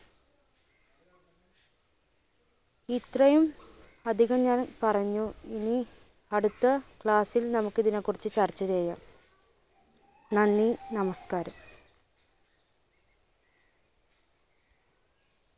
ഇത്രയും അധികം ഞാൻ പറഞ്ഞു. ഇനി അടുത്ത class ൽ നമുക്ക് ഇതിനെ കുറിച്ച് ചർച്ച ചെയ്യാം. നന്ദി! നമസ്കാരം!